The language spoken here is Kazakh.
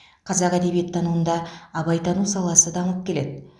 қазақ әдебиеттануында абайтану саласы дамып келеді